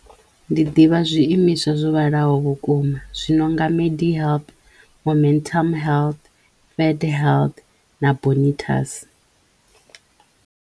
Ndi ḓivha zwiimiswa zwo vhalaho vhukuma zwi no nga Medihelp, Momentum health, Fedhealth na Bonitas.